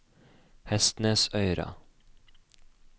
Hestnesøyra